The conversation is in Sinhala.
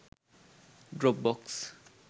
dropbox